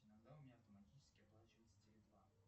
иногда у меня автоматически оплачивается теле два